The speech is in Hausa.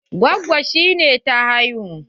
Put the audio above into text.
Gwaggon ki ne ta haihu?